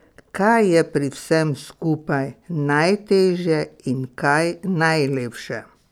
Kaj je pri vsem skupaj najtežje in kaj najlepše?